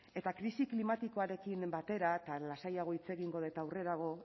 eta krisi klimatikoarekin batera eta lasaiago hitz egingo dut aurrerago